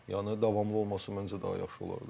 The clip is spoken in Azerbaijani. Yəni davamlı olması məncə daha yaxşı olardı.